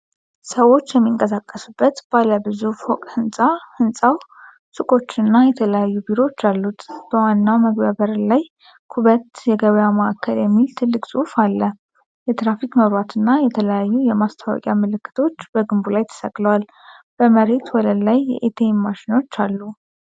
ሰዎች የሚንቀሳቀሱበት ባለ ብዙ ፎቅ ሕንፃ። ሕንፃው ሱቆችና የተለያዩ ቢሮዎች አሉት። በዋናው መግቢያ ላይ "ኩበት የገበያ ማዕከል" የሚል ትልቅ ጽሑፍ አለ። የትራፊክ መብራትና የተለያዩ የማስታወቂያ ምልክቶች በግንቡ ላይ ተሰቅለዋል። በመሬት ወለል ላይ የኤቲኤም ማሽኖች አሉ።